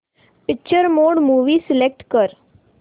picture mode movie select कर